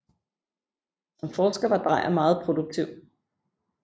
Som forsker var Drejer meget produktiv